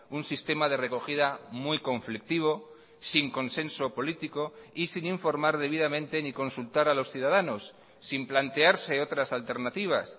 un sistema de recogida muy conflictivo sin consenso político y sin informar debidamente ni consultar a los ciudadanos sin plantearse otras alternativas